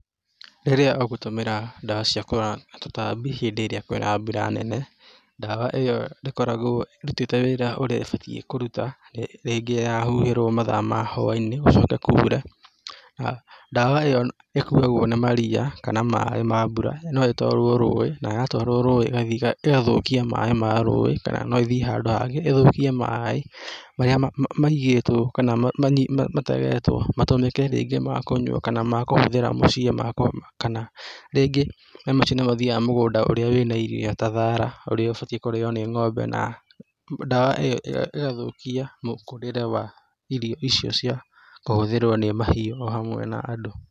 Rĩrĩa ũgũtũmĩra ndawa cia kũroga tũtambi rĩrĩa kwĩna mbura nene, ndawa ĩyo ndĩkoragwo ĩrutĩte wira ũrĩa ĩbatiĩ kũruta. Rĩngĩ yahuhĩrwo mathaa ma hwa-inĩ gũcoke kure. Ndawa ĩyo ĩkuagwo nĩ maria kana maĩ ma mbura. No ĩtwarwo rũĩ na yatwarwo rũĩ igathiĩ ĩgathũkia maĩ ma rũĩ, kana no ĩthiĩ handũ hangĩ ĩthũkie maĩ marĩa maigĩtwo kana mategetwo matũmĩke rĩngĩ ma kũnyua kana ma kũhũthĩra mũciĩ makũruga kana rĩngĩ maĩ macio nĩmathiaga mũgũnda urĩa wĩna irio ta thara ũrĩa ũbatiĩ kũrĩo nĩ ng'ombe na ndawa ĩyo ĩgathũkia mũkũrĩre wa irio icio cia kũhũthĩrwo nĩ mahiũ ohamwe na andũ.